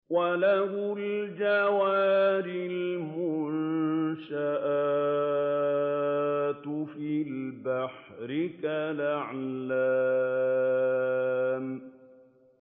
وَلَهُ الْجَوَارِ الْمُنشَآتُ فِي الْبَحْرِ كَالْأَعْلَامِ